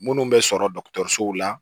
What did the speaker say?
Minnu bɛ sɔrɔ dɔgɔtɔrɔsow la